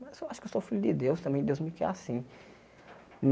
Mas eu acho que eu sou filho de Deus, também Deus me quer assim.